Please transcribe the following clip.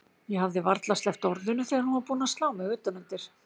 Ég hafði varla sleppt orðinu þegar hún var búin að slá mig utan undir.